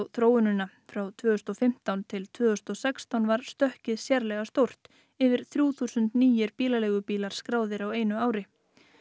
þróunina frá tvö þúsund og fimmtán til tvö þúsund og sextán var stökkið sérlega stórt yfir þrjúþúsund nýir bílaleigubílar skráðir á einu ári